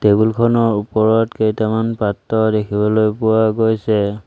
Table খনৰ ওপৰত কেইটামান পাত্ৰ দেখিবলৈ পোৱা গৈছে।